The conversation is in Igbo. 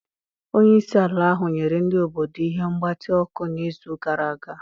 Onye isi ala ahụ nyere ndị obodo ihe mgbatị ọkụ n'izu gara aga.